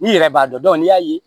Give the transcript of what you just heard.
N'i yɛrɛ b'a dɔn ni y'a ye